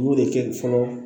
U y'o de kɛ fɔlɔ